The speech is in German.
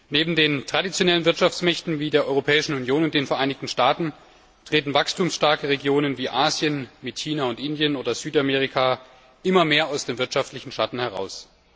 Neben den traditionellen Wirtschaftsmächten wie der Europäischen Union und den Vereinigten Staaten treten wachstumsstarke Regionen wie Asien mit China und Indien oder Südamerika immer mehr aus dem wirtschaftlichen Schatten heraus.